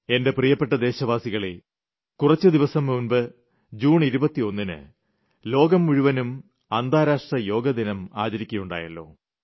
എന്റെ പ്രീയപ്പെട്ട ദേശവാസികളേ കുറച്ച് ദിവസം മുമ്പ് ജൂൺ 21 ന് ലോകം മുഴുവനും അന്താരാഷ്ട്ര യോഗാ ദിനം ആചരിക്കുകയുണ്ടായല്ലോ